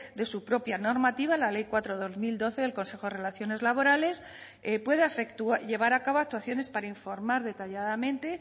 de su propia normativa la ley cuatro barra dos mil doce del consejo de relaciones laborales pueda llevar a cabo actuaciones para informar detalladamente